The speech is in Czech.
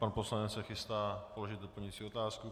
Pan poslanec se chystá položit doplňující otázku.